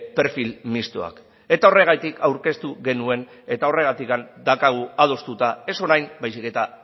perfil mistoak eta horregatik aurkeztu genuen eta horregatik daukagu adostuta ez orain baizik eta